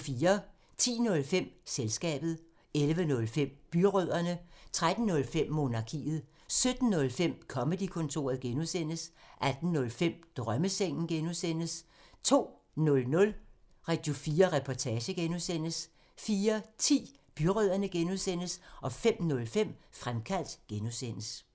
10:05: Selskabet 11:05: Byrødderne 13:05: Monarkiet 17:05: Comedy-kontoret (G) 18:05: Drømmesengen (G) 02:00: Radio4 Reportage (G) 04:10: Byrødderne (G) 05:05: Fremkaldt (G)